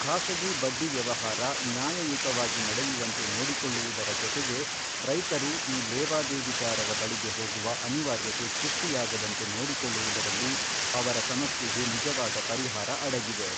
ಖಾಸಗಿ ಬಡ್ಡಿ ವ್ಯವಹಾರ ನ್ಯಾಯಯುತವಾಗಿ ನಡೆಯುವಂತೆ ನೋಡಿಕೊಳ್ಳುವುದರ ಜೊತೆಗೆ, ರೈತರು ಈ ಲೇವಾದೇವಿಗಾರರ ಬಳಿಗೆ ಹೋಗುವ ಅನಿವಾರ್ಯತೆ ಸೃಷ್ಟಿಯಾಗದಂತೆ ನೋಡಿಕೊಳ್ಳುವುದರಲ್ಲಿ ಅವರ ಸಮಸ್ಯೆಗೆ ನಿಜವಾದ ಪರಿಹಾರ ಅಡಗಿದೆ.